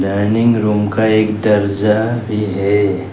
Dining room का एक दर्जा भी है।